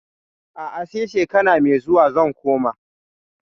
A'a, sai shekara mai zuwa zan koma.